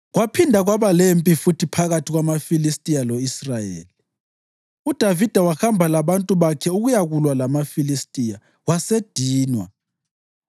Kwaphinda kwaba lempi futhi phakathi kwamaFilistiya lo-Israyeli. UDavida wahamba labantu bakhe ukuyakulwa lamaFilistiya, wasedinwa.